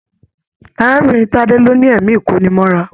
Arábìnrin Tade ló ní ẹ̀mí ikonimọ́ra.